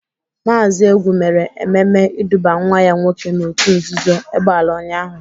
Maazi Egwu mere ememe iduba nwa ya nwoke n'otu nzuzo egbela ụnyaahụ.